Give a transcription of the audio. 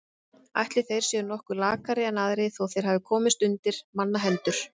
Ætli þeir séu nokkuð lakari en aðrir þó þeir hafi komist undir mannahendur.